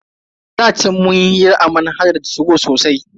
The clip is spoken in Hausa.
A da chan munyi hira a manhajar 2go sosai.